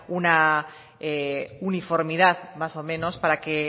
una uniformidad más o menos para que